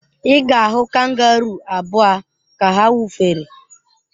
Ị ga-ahụ kangaruu abụa ka ha wụfere.